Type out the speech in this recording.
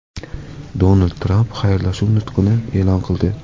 Donald Tramp xayrlashuv nutqini e’lon qildi .